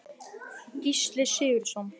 Gísli Sigurðsson.